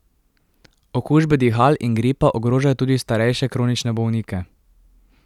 Okužbe dihal in gripa ogrožajo tudi starejše kronične bolnike.